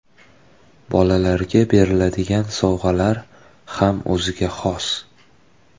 Bolalarga beriladigan sovg‘alar ham o‘ziga xos.